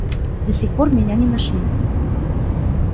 до сих пор меня не нашли